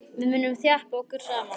Við munum þjappa okkur saman.